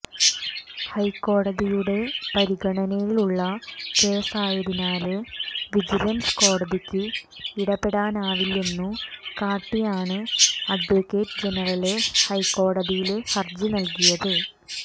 ഹൈക്കോടതിയുടെ പരിഗണനയിലുള്ള കേസായതിനാല് വിജിലന്സ് കോടതിക്ക് ഇടപെടാനാവില്ലെന്നു കാട്ടിയാണ് അഡ്വക്കേറ്റ് ജനറല് ഹൈക്കോടതിയില് ഹര്ജി നല്കിയത്